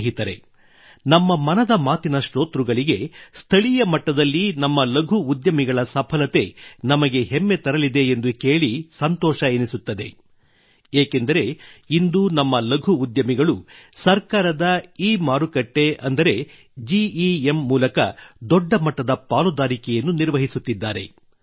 ಸ್ನೇಹಿತರೆ ನಮ್ಮ ಮನದ ಮಾತಿನ ಶ್ರೋತೃಗಳಿಗೆ ಸ್ಥಳೀಯ ಮಟ್ಟದಲ್ಲಿ ನಮ್ಮ ಲಘು ಉದ್ಯಮಿಗಳ ಸಫಲತೆ ನಮಗೆ ಹೆಮ್ಮೆ ತರಲಿದೆ ಎಂದು ಕೇಳಿ ಸಂತೋಷ ಎನಿಸುತ್ತದೆ ಏಕೆಂದರೆ ಇಂದು ನಮ್ಮ ಲಘು ಉದ್ಯಮಿಗಳು ಸರ್ಕಾರದ ಇಮಾರುಕಟ್ಟೆ ಅಂದರೆ ಜಿ ಇ ಎಂ ಮೂಲಕ ದೊಡ್ಡ ಮಟ್ಟದ ಪಾಲುದಾರಿಕೆಯನ್ನು ನಿರ್ವಹಿಸುತ್ತಿದ್ದಾರೆ